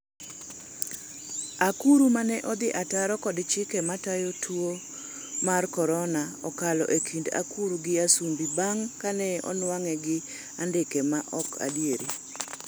Akuru ' mane odhi ataro kod chike matayo tuo mar Korona okalo e kind akuru gi Asumbi bang' kane onwang'e gi andike ma ok adieri